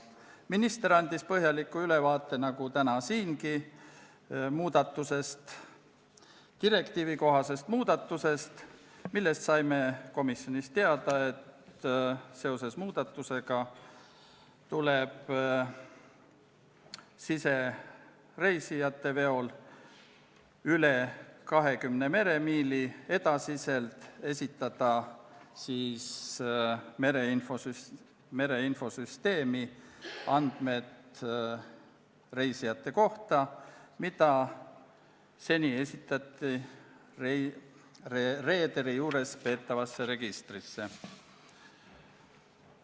Minister andis sama põhjaliku ülevaate nagu täna siin direktiivikohasest muudatusest, mille kohta saime komisjonis teada, et sellega seoses tuleb sisereisijate veol üle 20 meremiili edaspidi esitada mereinfosüsteemis reisijate kohta andmed, mida seni kanti reederi juures peetavasse registrisse.